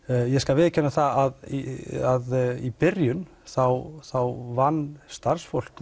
ég skal viðurkenna að í að í byrjun vann starfsfólk